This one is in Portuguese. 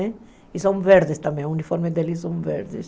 E são verdes também, os uniformes deles são verdes.